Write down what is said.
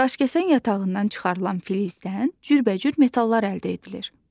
Daşkəsən yatağından çıxarılan filizdən cürbəcür metallar əldə edilir.